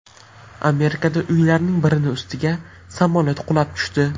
Amerikadagi uylarning birini ustiga samolyot qulab tushdi.